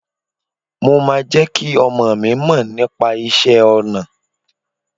Mo máa jẹ́ kí ọmọọ̀ mi mọ nípa iṣẹ́ ọnà